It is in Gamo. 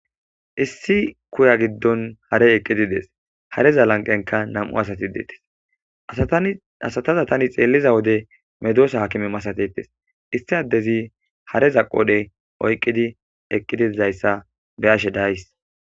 Hareza lanqqen nam'u asati eqidi detees asata tani xeliza wode medosata hakime masatetees issi adezi hareza qodhe oyqqidi eqidi de'izaysa beyashe de'aysi